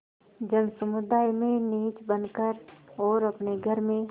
जनसमुदाय में नीच बन कर और अपने घर में